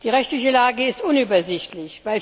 Die rechtliche Lage ist unübersichtlich.